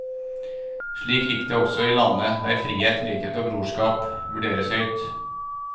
Slik gikk det også i landet der frihet, likhet og broderskap vurderes høyt.